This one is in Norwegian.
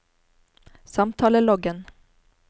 samtaleloggen